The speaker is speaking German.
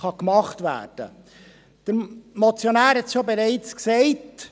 Der Motionär hat es bereits gesagt: